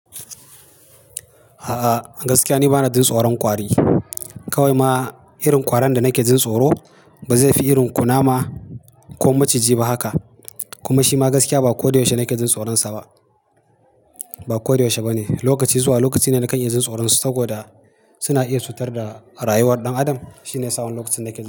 A'a gaskiya ni bana jin tsoron ƙwari. Kawai ma irin ƙwaron da nake jin tsoro ba zai fi irin kunama ko maciji ba haka. Kuma shi ma gaskiya ba ko da yaushe nake jin tsoronsa ba. Ba ko da yaushe ba ne. Lokaci zuwa lokaci ne nakan iya jin tsoronsu saboda suna iya cutar da rayuwar ɗan adam. Shine yasa wani lokacin nake jin.